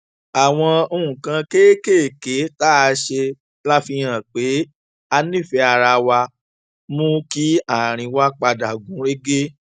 àwọn nǹkan kéékèèké tá a ṣe láti fihàn pé a nífèé ara wa mú kí àárín wa padà gún régé